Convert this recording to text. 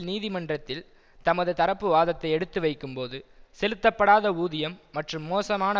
நீதிமன்றத்தில் தமது தரப்புவாதத்தை எடுத்துவைக்கும்போது செலுத்தப்படாத ஊதியம் மற்றும் மோசமான